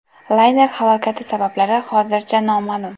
Layner halokati sabablari hozircha noma’lum.